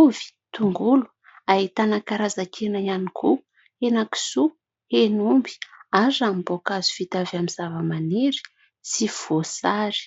ovy, tongolo. Ahitana karazan-kena ihany koa ; henakisoa, henomby ary ranom-boankazo vita avy amin'ny zava-manery sy voasary.